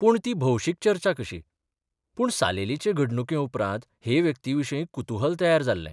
पूण ती भौशीक चर्चा कशी पूण सालेलीचे घडणुके उपरांत हे व्यक्तिविशीं कुतुहल तयार जाल्लें.